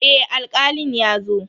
Eh Alkalin ya zo.